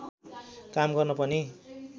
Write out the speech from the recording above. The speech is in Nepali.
काम गर्न पनि